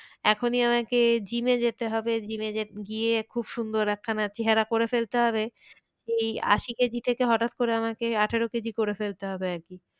এখনই আমাকে জিমে যেতে হবে। জিমে গিয়ে খুব সুন্দর একখানা চেহারা করে ফেলতে হবে। এই আশি কেজি থেকে হঠাৎ করে আমাকে আঠেরো কেজি করে ফেলতে হবে আর কি।